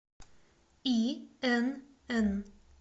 инн